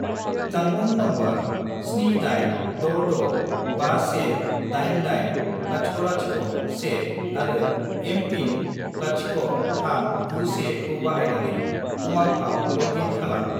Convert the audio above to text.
जानबुं नम्बर 78665188001 आरो एम.पिन. 0391 खौ बाहायनानै उमांआव लग इन खालाम।